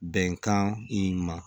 Bɛnkan in ma